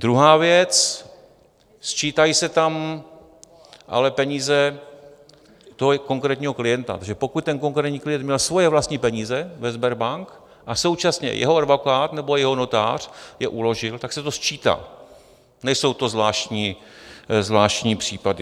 Druhá věc, sčítají se tam ale peníze toho konkrétního klienta, takže pokud ten konkrétní klient měl svoje vlastní peníze ve Sberbank a současně jeho advokát nebo jeho notář je uložil, tak se to sčítá, nejsou to zvláštní případy.